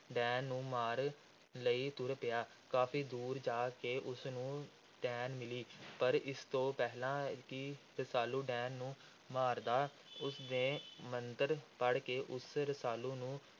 ਡੈਣ ਨੂੰ ਮਾਰਨ ਲਈ ਤੁਰ ਪਿਆ। ਕਾਫ਼ੀ ਦੂਰ ਜਾ ਕੇ ਉਸ ਨੂੰ ਡੈਣ ਮਿਲੀ। ਪਰ ਇਸ ਤੋਂ ਪਹਿਲਾਂ ਕਿ ਰਸਾਲੂ ਡੈਣ ਨੂੰ ਮਾਰਦਾ, ਉਸ ਨੇ ਮੰਤਰ ਪੜ੍ਹ ਕੇ ਉਸ ਰਸਾਲੂ ਨੂੰ